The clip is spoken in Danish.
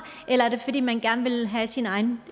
eller er det fordi man gerne vil have sine egne